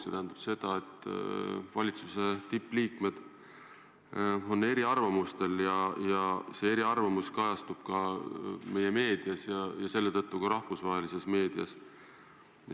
See tähendab seda, et valitsuse tippliikmed on eri arvamustel ja see kajastub ka meie meedias ja selle tõttu ka rahvusvahelises meedias.